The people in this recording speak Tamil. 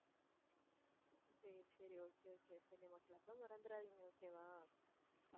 சரி சரி okay okay சரி நம்ம club அ மறந்துடாதீங்க okay வா?